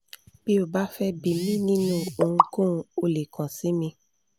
bi o ba fẹ bi mi ni ohùnkóhun, o le kan si mi